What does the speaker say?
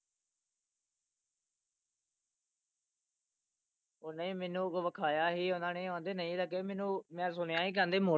ਉਹ ਨਹੀਂ ਮੈਨੂੰ ਵਖਾਇਆ ਸੀ ਓਹਨੇ ਨੇ ਉਹ ਆਂਦੇ ਨਹੀਂ ਲੱਗੇ ਮੈਨੂੰ ਮੈਂ ਸੁਣਿਆ ਸੀ ਕਹਿੰਦੇ ਮੋ,